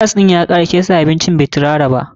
Gas ɗin ya kare, sai sa abincin bai tirara ba.